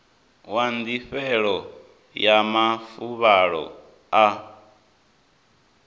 wa ndifhelo ya mafuvhalo a